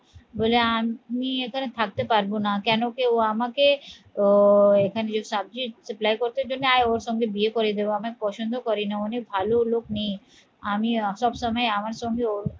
বলে আমি এখানে থাকতে পারবো না কেন কি ও আমাকে আহ এখানে যে করতে দেবে না আর ওর সঙ্গে বিয়ে করে দেবে আমায় পছন্দ করে না অনেক ভালো লোক নেই আমি সব সময় আমার সঙ্গে ওর